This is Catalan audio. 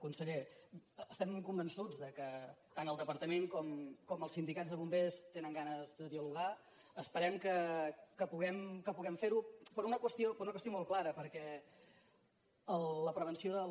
conseller estem convençuts que tant el departament com el sindicat de bombers tenen ganes de dialogar esperem que puguem fer ho per una qüestió molt clara perquè la prevenció de la